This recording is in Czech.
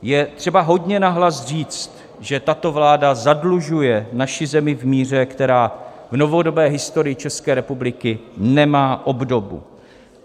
Je třeba hodně nahlas říct, že tato vláda zadlužuje naši zemi v míře, která v novodobé historii České republiky nemá obdobu.